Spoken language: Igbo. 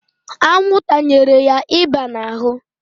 Anwụ tanyere ya ịba n'ahụ.